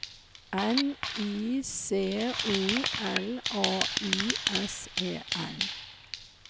N I C O L A Y S E N